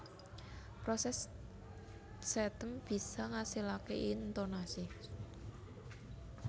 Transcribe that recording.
Proses setem bisa ngasilake intonasi